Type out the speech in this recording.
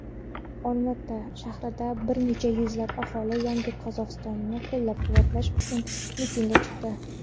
Olma-ota shahrida bir necha yuzlab aholi "Yangi Qozog‘iston"ni qo‘llab-quvvatlash uchun mitingga chiqdi.